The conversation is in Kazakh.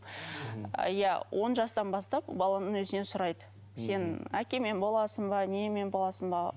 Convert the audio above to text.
иә он жастан бастап баланың өзінен сұрайды сен әкеңмен боласың ба немен боласың ба